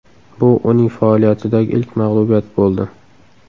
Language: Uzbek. Bu uning faoliyatidagi ilk mag‘lubiyat bo‘ldi.